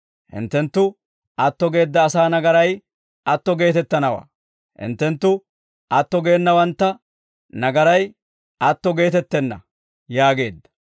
Hinttenttu atto geedda asaa nagaray atto geetettanawaa; hinttenttu atto geenawanttu nagaray atto geetettenna» yaageedda.